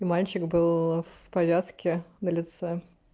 и мальчик был в порядке на лице